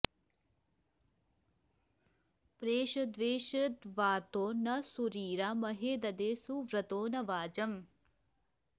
प्रेष॒द्वेष॒द्वातो॒ न सू॒रिरा म॒हे द॑दे सुव्र॒तो न वाज॑म्